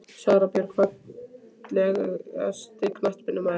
Sara Björk Fallegasti knattspyrnumaðurinn?